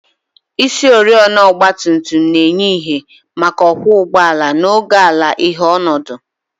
Isioriọna ọgba tum tum na-enye ìhè maka ọkwọ ụgbọala n'oge ala-ìhè ọnọdụ